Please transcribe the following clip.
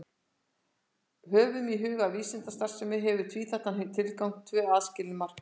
Höfum í huga að vísindastarfsemi hefur tvíþættan tilgang, tvö aðskilin markmið.